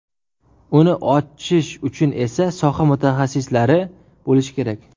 Uni ochish uchun esa soha mutaxassislari bo‘lishi kerak.